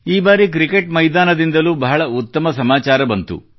ಈ ಬಾರಿ ಕ್ರಿಕೆಟ್ ಮೈದಾನದಿಂದಲೂ ಬಹಳ ಉತ್ತಮ ಸಮಾಚಾರ ಬಂತು